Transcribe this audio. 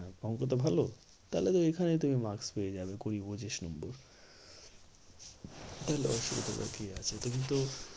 অঙ্কটা ভালো? তাহলে তো এখানেই তুমি maks পেয়ে যাবে কুড়ি পঁচিশ নম্বর তাহলে অসুবিধাটা কি আছে তুমি তো